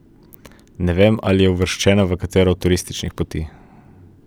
Ne vem, ali je uvrščena v katero od turističnih poti.